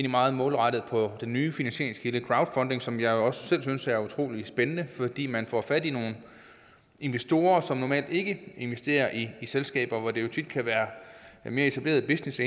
meget målrettet på den nye finansieringskilde crowdfunding som jeg jo også selv synes er utrolig spændende fordi man får fat i nogle investorer som normalt ikke investerer i selskaber hvor det jo tit kan være mere etablerede business